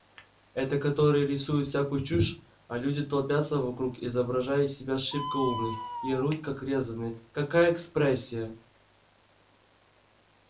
это которые рисуют всякую чушь а люди толпятся вокруг изображая из себя шибко умных и орут как резаные какая экспрессия